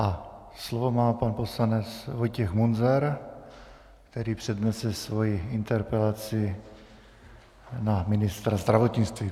A slovo má pan poslanec Vojtěch Munzar, který přednese svoji interpelaci na ministra zdravotnictví.